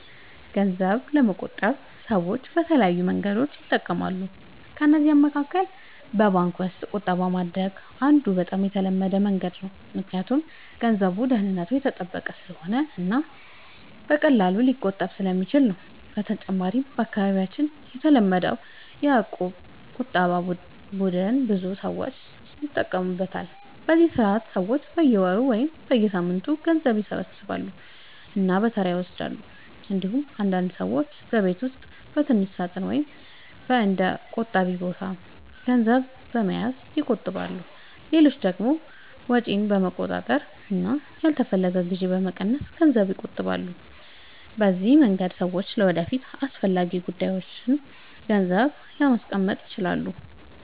ገንዘብ ለመቆጠብ ሰዎች የተለያዩ መንገዶችን ይጠቀማሉ። ከእነዚህ መካከል በባንክ ውስጥ ቁጠባ ማድረግ አንዱ በጣም የተለመደ መንገድ ነው፣ ምክንያቱም ገንዘቡ ደህንነቱ የተጠበቀ ስለሆነ እና በቀላሉ ሊቆጠብ ስለሚችል ነው። በተጨማሪም በአካባቢያችን የተለመደው የእቁብ ቁጠባ ቡድን ብዙ ሰዎች ይጠቀሙበታል፤ በዚህ ስርዓት ሰዎች በየወሩ ወይም በየሳምንቱ ገንዘብ ይሰበስባሉ እና በተራ ይወስዳሉ። እንዲሁም አንዳንድ ሰዎች በቤት ውስጥ በትንሽ ሳጥን ወይም በእንደ “ቆጣቢ ቦታ” ገንዘብ በመያዝ ይቆጥባሉ። ሌሎች ደግሞ ወጪን በመቆጣጠር እና ያልተፈለገ ግዢ በመቀነስ ገንዘብ ይቆጥባሉ። በዚህ መንገድ ሰዎች ለወደፊት አስፈላጊ ጉዳዮች ገንዘብ ማስቀመጥ ይችላሉ።